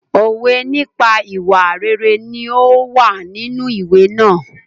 Òwe nípa ìwà rere ní ó wà nínú ìwé náà.